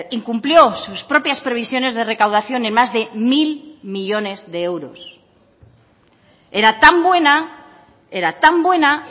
incumplió sus propias previsiones de recaudación en más de mil millónes de euros era tan buena era tan buena